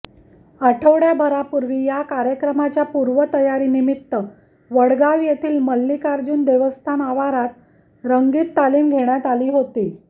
आठवडय़ाभरापूर्वी या कार्यक्रमाच्या पूर्वतयारीनिमित्त वडगाव येथील मल्लिकार्जुन देवस्थान आवारात रंगीत तालीम घेण्यात आली होती